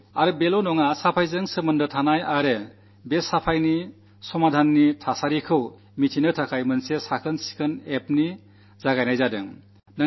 ഇത്രമാത്രമല്ല സ്വച്ഛതയുമായി ബന്ധപ്പെട്ട പരാതികളും ആ പരാതികൾക്കു പരിഹാരമുണ്ടാക്കിയതിനെക്കുറിച്ചും അറിയാൻ ഒരു സ്വച്ഛത ആപ് നു തുടക്കം കുറിച്ചിട്ടുണ്ട്